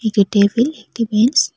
একটি টেবিল একটি ব্রেঞ্চ ।